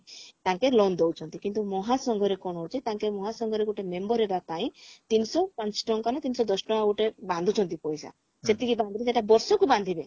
ତାଙ୍କେ loan ଦଉଛନ୍ତି କିନ୍ତୁ ମହାସଂଘରେ କଣ ହଉଛି ତାଙ୍କେ ମହାସଂଘରେ ଗୋଟେ member ହେବା ପାଇଁ ତିନିଶହ ପାଞ୍ଚ ଟଙ୍କା ନା ତିନିଶହ ଦଶ ଟଙ୍କା ଗୋଟେ ବାନ୍ଧୁଛନ୍ତି ପଇସା ସେତିକି ବାନ୍ଧିକି ସେଟା ବର୍ଷକୁ ବାନ୍ଧିବେ